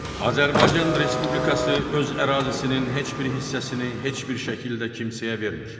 Azərbaycan Respublikası öz ərazisinin heç bir hissəsini heç bir şəkildə kimsəyə vermir.